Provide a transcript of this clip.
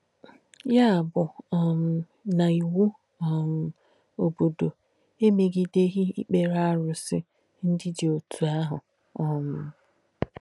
Yà bù um nà ìwù um òbòdō èmègidēghī ìkpèrè árùsì ndí dí ótù àhù. um